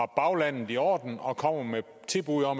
baglandet i orden og kommer med tilbud og